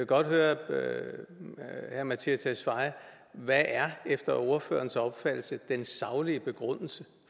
godt høre herre mattias tesfaye hvad er efter ordførerens opfattelse den saglige begrundelse